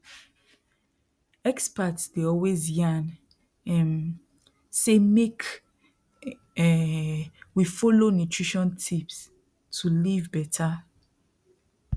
experts dey always yarn um say make um we dey follow nutrition tips to live better